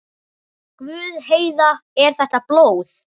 Guð, Heiða, er þetta blóð?